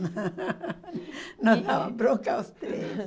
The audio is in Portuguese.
E... Nos dava bronca os três.